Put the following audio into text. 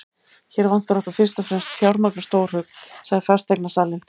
Hér vantar okkur fyrst og fremst fjármagn og stórhug, sagði fasteignasalinn.